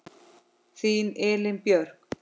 Þín Elín Björk.